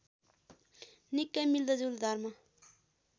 निकै मिल्दोजुल्दो धर्म